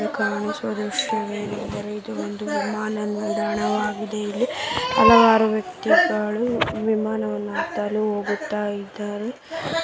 ಕಾಣಿಸುವ ವಿಷಯವೇನೆಂದರೆ ಇದು ಒಂದು ವಿಮಾನ ನಿಲ್ದಾಣವಾಗಿದೆ ಇಲ್ಲಿ ಹಲವಾರು ವ್ಯಕ್ತಿಗಳು ವಿಮಾನವನ್ನು ಹತ್ತಲು ಹೋಗುತ್ತಇದ್ದಾರೆ.